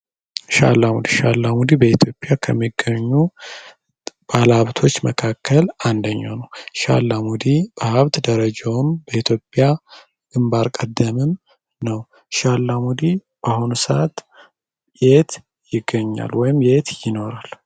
ሺህ አላሙዲ ሸህ አላሙዲ በኢትዮጵያ ከሚገኙ ባለሀብቶች መካከል አንደኛው ነው። ሺህ አላሙዲ በሀብት ደረጃውም ከኢትዮጵያ ግንባር ቀደም ነው። ሺህ አላሙዲ በአሁኑ ሰዓት የት ይገኛል ወይም የት ይኖራል?